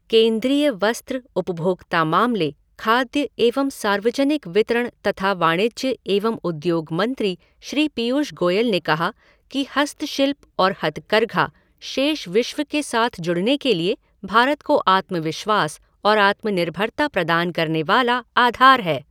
केन्द्रीय वस्त्र, उपभोक्ता मामले, खाद्य एवं सार्वजनिक वितरण तथा वाणिज्य एवं उद्योग मंत्री श्री पीयूष गोयल ने कहा कि हस्तशिल्प और हथकरघा शेष विश्व के साथ जुड़ने के लिए भारत को आत्मविश्वास और आत्मनिर्भरता प्रदान करने वाला आधार है।